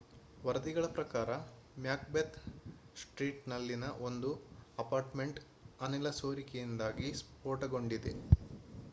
ವರದಿಗಳ ಪ್ರಕಾರ ಮ್ಯಾಕ್‌ಬೆತ್‌ ಸ್ಟ್ರೀಟ್‌ನಲ್ಲಿನ ಒಂದು ಅಪಾರ್ಟ್‌ಮೆಂಟ್‌ ಅನಿಲ ಸೋರಿಕೆಯಿಂದಾಗಿ ಸ್ಫೋಟಗೊಂಡಿದೆ